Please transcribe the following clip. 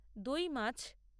দই মাছ